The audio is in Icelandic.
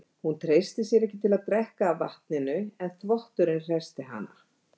Hún treysti sér ekki til að drekka af vatninu en þvotturinn hressti hana.